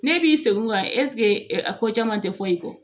Ne b'i sen o kan ɛseke a ko caman tɛ fɔ i kɔ